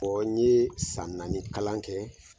O ye san naani ni kalan kɛ.